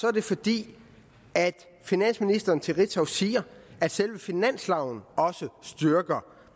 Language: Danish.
er det fordi finansministeren til ritzau siger at selve finansloven også styrker